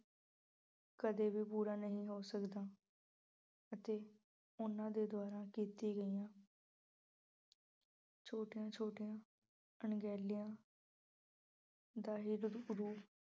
ਕਦੇ ਵੀ ਬੁਰਾ ਨਹੀਂ ਹੋ ਸਕਦਾ। ਅਤੇ ਉਹਨਾਂ ਦੇ ਦੁਆਰਾ ਕੀਤੀਆਂ ਗਈਆਂ ਛੋਟੀਆਂ ਛੋਟੀਆਂ ਅਣਗਹਿਲੀਆਂ ਦਾ ਹੀ ਰੂਪ ਅਹ